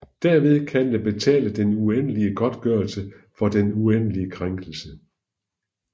Derved kan den betale den uendelige godtgørelse for den uendelige krænkelse